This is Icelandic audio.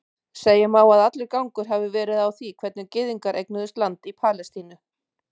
Segja má að allur gangur hafi verið á því hvernig gyðingar eignuðust land í Palestínu.